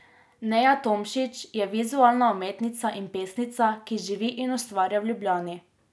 Neja Tomšič je vizualna umetnica in pesnica, ki živi in ustvarja v Ljubljani.